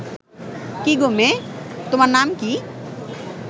কি গো মেয়ে, তোমার নাম কি